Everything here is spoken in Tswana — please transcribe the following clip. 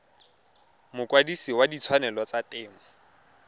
mokwadise wa ditshwanelo tsa temo